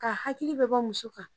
Ka hakili bɛɛ bɔ muso kan